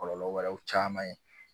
Kɔlɔlɔ wɛrɛw caman ye